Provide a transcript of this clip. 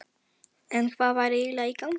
En hvað væri eiginlega í gangi?